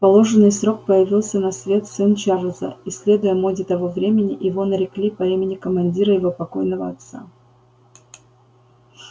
в положенный срок появился на свет сын чарлза и следуя моде того времени его нарекли по имени командира его покойного отца